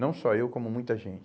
Não só eu, como muita gente.